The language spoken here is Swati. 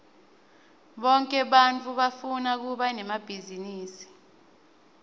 bonke bantfu bafuna kuba nemabhizinisi